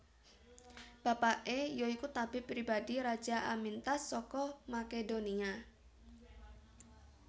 Bapaké ya iku tabib pribadi Raja Amyntas saka Makedonia